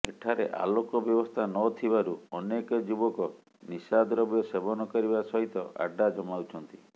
ଏଠାରେ ଆଲୋକ ବ୍ୟବସ୍ଥା ନ ଥିବାରୁ ଅନେକ ଯୁବକ ନିଶାଦ୍ରବ୍ୟ ସେବନ କରିବା ସହିତ ଆଡ୍ଡା ଜମାଉଛନ୍ତି